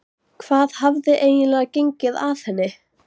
Hvað hafði eiginlega gengið að henni?